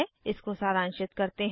इसको सारांशित करते हैं